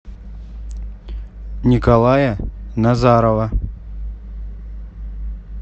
николая назарова